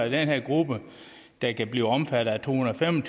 i den her gruppe der kan blive omfattet af to hundrede og fem